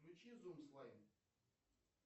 включи зум слайм